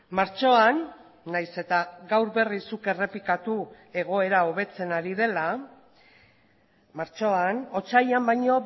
martxoan nahiz eta gaur berriz zuk errepikatu egoera hobetzen ari dela martxoan otsailean baino